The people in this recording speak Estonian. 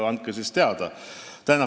Andke siis teada.